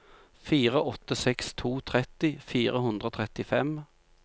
fire åtte seks to tretti fire hundre og trettifem